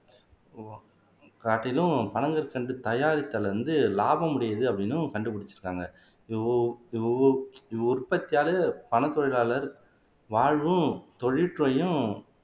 காட்டிலும் பனங்கற்கண்டு தயாரித்தல் வந்து லாபம் உடையது அப்படின்னும் கண்டுபிடிச்சிருக்காங்க உஉற்பத்தியாளர் பனத் தொழிலாளர் வாழ்வும் தொழில் துறையும்